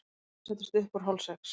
Sólin settist upp úr hálfsex.